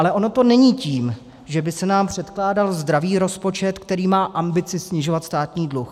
Ale ono to není tím, že by se nám předkládal zdravý rozpočet, který má ambice snižovat státní dluh.